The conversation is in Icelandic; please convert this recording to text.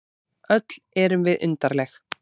Öll erum við undarleg.